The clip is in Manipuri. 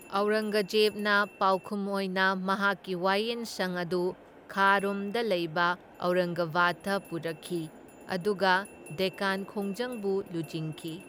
ꯑꯧꯔꯪꯒꯖꯦꯕꯅ ꯄꯥꯎꯈꯨꯝ ꯑꯣꯏꯅ ꯃꯍꯥꯛꯀꯤ ꯋꯥꯌꯦꯟ ꯁꯪ ꯑꯗꯨ ꯈꯥꯔꯣꯝꯗ ꯂꯩꯕ ꯑꯧꯔꯪꯒꯕꯥꯗꯇ ꯄꯨꯔꯛꯈꯤ, ꯑꯗꯨꯒ ꯗꯦꯛꯀꯥꯟ ꯈꯣꯡꯖꯪꯕꯨ ꯂꯨꯆꯤꯡꯈꯤ꯫